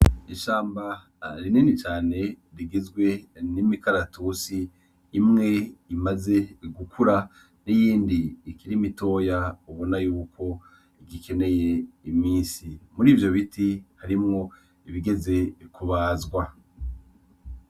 Ishamba rinini cane rigizwe n'imikaratusi imwe imaze gukura n'iyindi ikiri mitoya ubona yuko igikeneye imisi. Murivyo biti harimwo ibigeze kubazwa.